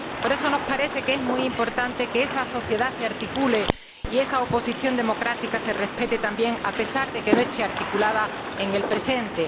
Por eso, nos parece que es muy importante que esa sociedad se articule y que su oposición democrática se respete también, a pesar de que no esté articulada en el presente.